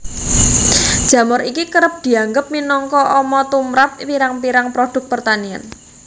Jamur iki kerep dianggep minangka ama tumrap pirang pirang produk pertanian